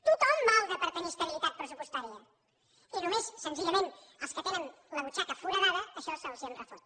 tothom malda per tenir estabilitat pressupostària i només senzillament als que tenen la butxaca foradada això se’ls en refot